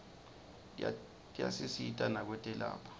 tiyasisita nakwetekwelapha